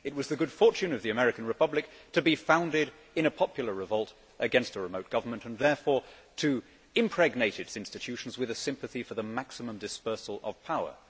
It was the good fortune of the American Republic to be founded in a popular revolt against a remote government and therefore to impregnate its institutions with a sympathy for the maximum dispersal of power.